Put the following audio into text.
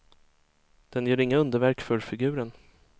Den gör inga underverk för figuren.